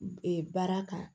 baara kan